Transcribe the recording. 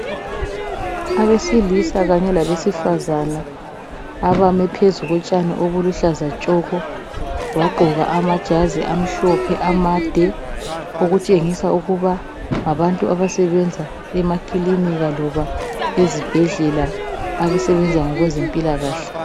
Abesilisa kanye labesifazana abame phezu kotshani obuluhlaza tshoko bagqoka amajazi amhlophe amade okutshengisa ukuba ngabantu abasebenza emakilinika loba ezibhedlela abasebenza ngokwezempilakahle.